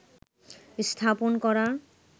স্থাপন করা